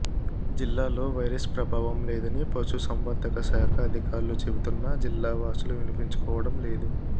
జిల్లాలో వైరస్ ప్రభావం లేదని పశుసంవర్ధక శాఖ అధికారులు చెబుతున్నా జిల్లా వాసులు వినిపించుకోవడం లేదు